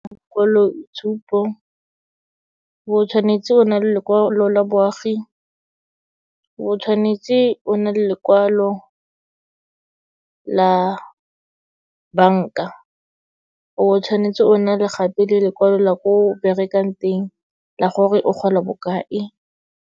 Bokwaloitshupo, o bo tshwanetse o na le lekwalo la boagi, o bo tshwanetse o na le lekwalo la banka, o bo tshwanetse o na le gape le lekwalo la ko berekang teng, la gore o gola bokae.